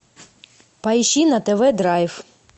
поищи на тв драйв